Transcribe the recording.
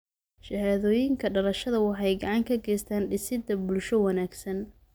Shahaadooyinka dhalashada waxay gacan ka geystaan ??dhisidda bulsho wanaagsan.